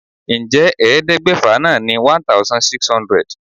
Ǹjẹ́ ẹ̀ẹ́dẹ́gbẹ́fà náà ni 1600?